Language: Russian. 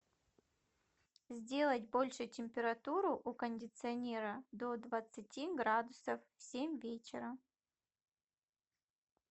сделать больше температуру у кондиционера до двадцати градусов в семь вечера